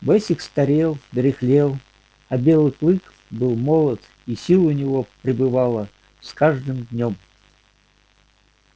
бэсик старел дряхлел а белый клык был молод и сил у него прибывало с каждым днём